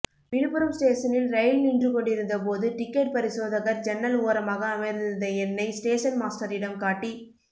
விழுப்புரம் ஸ்டேசனில் ரயில் நின்று கொண்டிருந்த போது டிக்கெட் பரிசோதகர் ஜன்னல் ஓரமாக அமர்ந்திருந்த என்னை ஸ்டேசன் மாஸ்டரிடம் காட்டி